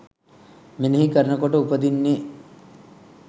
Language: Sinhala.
මෙනෙහි කරනකොට උපදින්නෙ.